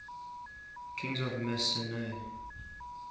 kings of mycenae